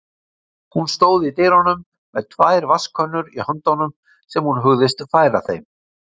Hún stóð í dyrunum með tvær vatnskönnur í höndunum sem hún hugðist færa þeim.